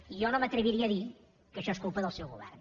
i jo no m’atreviria a dir que això és culpa del seu govern